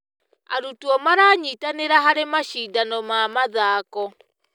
Arutwo maranyitanĩra harĩ macindano ma mathako.